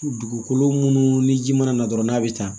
Dugukolo minnu ni ji mana na dɔrɔn n'a bɛ taa